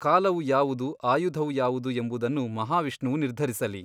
ಕಾಲವು ಯಾವುದು ಆಯುಧವು ಯಾವುದು ಎಂಬುದನ್ನು ಮಹಾವಿಷ್ಣುವು ನಿರ್ಧರಿಸಲಿ.